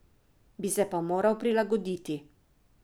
Bi se pa moral prilagoditi.